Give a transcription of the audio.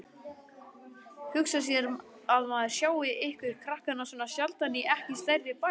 Hugsa sér að maður sjái ykkur krakkana svona sjaldan í ekki stærri bæ.